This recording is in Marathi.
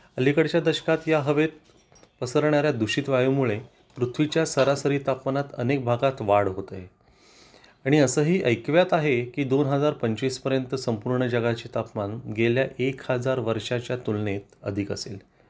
अलीकडच्या दशकात या हवेत पसरणाऱ्या दूषित वायूमुळे पृथ्वीच्या सरासरी तापमानात अनेक भागात वाढ होते आणि असेही ऐकिवात आहे की दोन हजार पंचवीस पर्यंत संपूर्ण जगाचे तापमान गेल्या एक हजार वर्षाच्या तुलनेत अधिक असेल